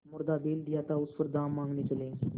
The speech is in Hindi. मुर्दा बैल दिया था उस पर दाम माँगने चले हैं